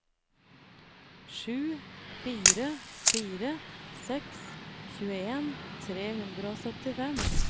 sju fire fire seks tjueen tre hundre og syttifem